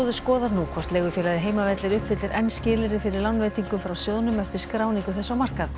skoðar nú hvort leigufélagið Heimavellir uppfyllir enn skilyrði fyrir lánveitingum frá sjóðnum eftir skráningu þess á markað